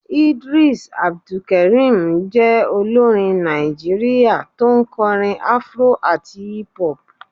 Eedris abdulkareem je olorín Naijiria tọ n korín afro atí hip hop